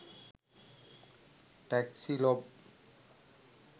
taxi log